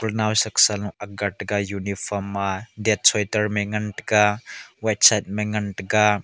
nawsa sa law aag ga tega uniform ma det sweater ma ngan taiga white shirt ma ngan tega.